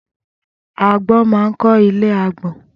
Agbọ́n ma ń kọ́ ilé agbọ́n.